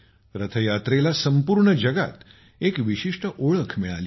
रथयात्रेला संपूर्ण जगात एक विशिष्ट ओळख मिळालेली आहे